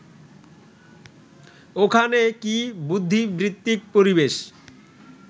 ওখানে কি বুদ্ধিবৃত্তিক পরিবেশ